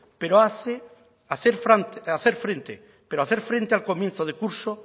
pero hacer frente al comienzo de curso